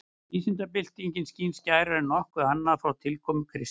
Vísindabyltingin skín skærar en nokkuð annað frá tilkomu kristni.